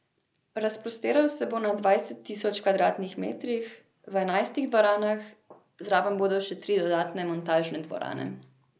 Razprostiral se bo na dvanajst tisoč kvadratnih metrih, v enajstih dvoranah, zraven bodo še tri dodatne montažne dvorane.